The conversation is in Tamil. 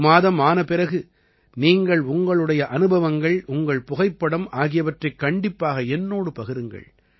ஒரு மாதம் ஆன பிறகு நீங்கள் உங்களுடைய அனுபவங்கள் உங்கள் புகைப்படம் ஆகியவற்றைக் கண்டிப்பாக என்னோடு பகிருங்கள்